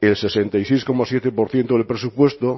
el sesenta y seis coma siete por ciento del presupuesto